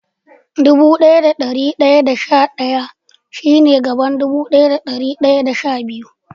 Dubu daya da dari daya da sha daya shi ne a gaban dubu daya da dari daya da sha biyu.